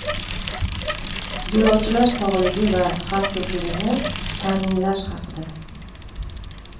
Yo‘lovchilar sog‘lig‘i va xavfsizligini ta’minlash haqida.